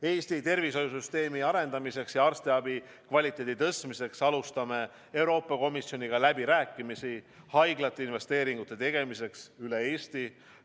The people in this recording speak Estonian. Eesti tervishoiusüsteemi arendamiseks ja arstiabi kvaliteedi tõstmiseks alustame Euroopa Komisjoniga läbirääkimisi haiglate investeeringute tegemiseks üle Eesti.